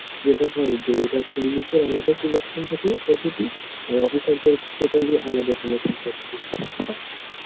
যেটা হয় যে এটা সৈনিকদের আলাদা selection থাকে পদ্ধুতি আর, officer দের totally আলাদা selection থাকে